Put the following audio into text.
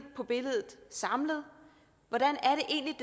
på billedet samlet hvordan